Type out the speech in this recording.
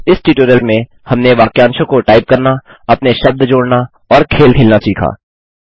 इस ट्यूटोरियल में हमनें वाक्यांशों को टाइप करना अपने शब्द जोड़ना और खेल खेलना सीखा